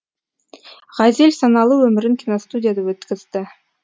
ғазел саналы өмірін киностудияда өткізді